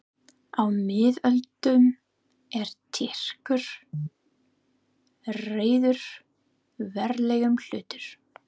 Á miðöldum, er Tyrkir réðu verulegum hluta